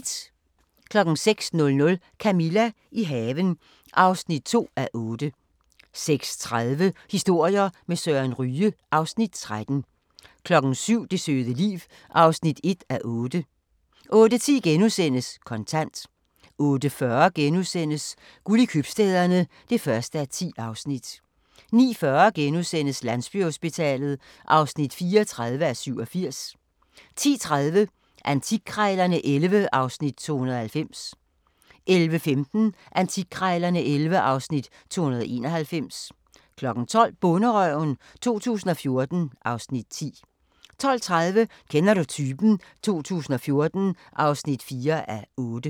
06:00: Camilla – i haven (2:8) 06:30: Historier med Søren Ryge (Afs. 13) 07:00: Det søde liv (1:8) 08:10: Kontant * 08:40: Guld i Købstæderne (1:10)* 09:40: Landsbyhospitalet (34:87)* 10:30: Antikkrejlerne XI (Afs. 290) 11:15: Antikkrejlerne XI (Afs. 291) 12:00: Bonderøven 2014 (Afs. 10) 12:30: Kender du typen? 2014 (4:8)